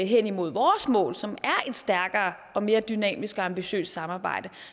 hen imod vores mål som er et stærkere og mere dynamisk og ambitiøst samarbejde